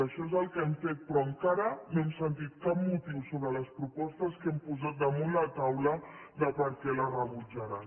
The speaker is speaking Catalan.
això és el que hem fet però encara no hem sentit cap motiu sobre les propostes que hem posat damunt la taula de per què les rebutjaran